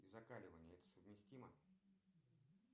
и закаливание это совместимо